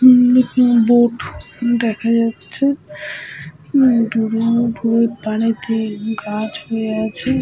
উম boat দেখা যাচ্ছে। দূরে দূরে পারেতে গাছ হয়ে আছে।